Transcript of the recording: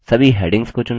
सभी हैडिंग्स को चुनें